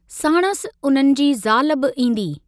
साणुसि उन्हनि जी ज़ाल बि ईदी।